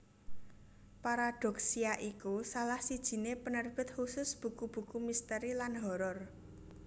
Paradoksya iku salah sijiné penerbit khusus buku buku misteri lan horor